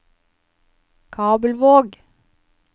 Kabelvåg